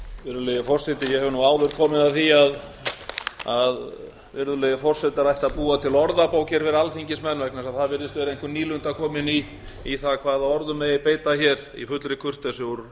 virðulegi forseti ég hef nú áður komið að því að virðulegir forsetar ættu að búa til orðabók hér fyrir alþingismenn vegna þess að það virðist vera einhver nýlunda komin í það hvaða orðum megi beita hér í fullri kurteisi úr